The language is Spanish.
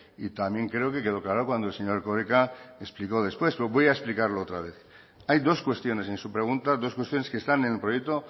y también creo que quedó claro cuando el señor erkoreka explicó después pero voy a explicarlo otra vez hay dos cuestiones en su pregunta dos cuestiones que están en el proyecto